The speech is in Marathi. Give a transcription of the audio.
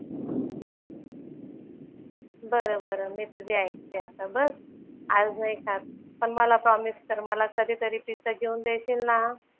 बरं बरं. मी तुझी ऐकते आता बस. आज नाही खात पण मला प्रॉमिस कर मला कधीतरी पिझ्झा घेऊन देशील ना?